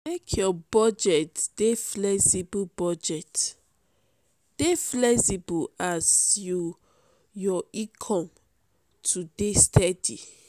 make your budget dey flexible budget dey flexible as you your income no dey steady.